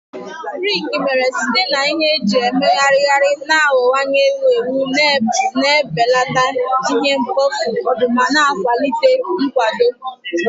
Briki mere site na ihe eji emegharịgharị na-aghọwanye ewu ewu, na-ebelata ihe mkpofu ma na-akwalite nkwado.